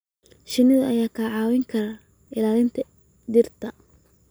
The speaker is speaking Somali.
shinnidu ayaa kaa caawin kara ilaalinta dhirta.